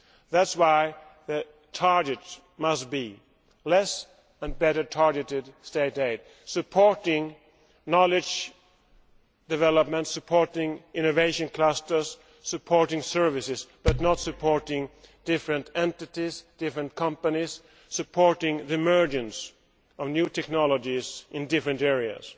That is why the target must be less and better targeted state aid, supporting knowledge development, supporting innovation clusters, supporting services but not supporting different entities, different companies supporting the emergence of new technologies in different areas.